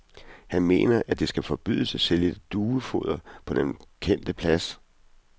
Han mener, at det skal forbydes at sælge duefoder på den kendte plads.